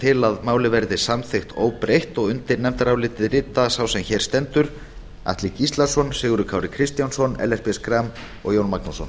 til að málið verði samþykkt óbreytt og undir nefndarálitið rita sá sem hér stendur atli gíslason sigurður kári kristjánsson ellert b schram og jón magnússon